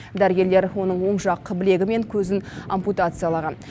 дәрігерлер оның оң жақ білегі мен көзін ампутациялаған